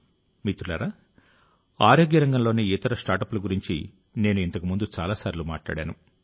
మిత్రులారా ఆరోగ్య రంగంలోని ఇతర స్టార్టప్ల గురించి నేను ఇంతకు ముందు చాలాసార్లు మాట్లాడాను